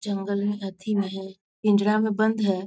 जंगल में अथी में है पिंजरा में बंद है।